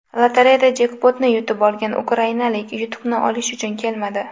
Lotereyada jekpotni yutib olgan ukrainalik yutuqni olish uchun kelmadi.